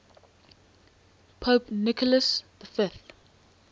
pope nicholas v